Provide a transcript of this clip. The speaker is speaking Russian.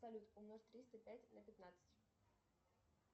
салют умножь триста пять на пятнадцать